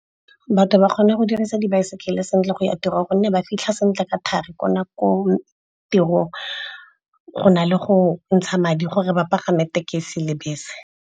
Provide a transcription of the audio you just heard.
Batho ba kgone go dirisa dibaesekele sentle go ya tirong gonne ba fitlha sentle ka thari ko tirong, go na le go ntsha madi gore ba pagame tekesi le bese.